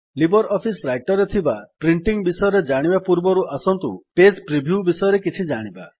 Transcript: Libre office Writer ରେ ଥିବା printing ବିଷୟରେ ଜାଣିବା ପୂର୍ବରୁ ଆସନ୍ତୁ ପେଜ୍ ପ୍ରିଭ୍ୟୁ ବିଷୟରେ କିଛି ଜାଣିବା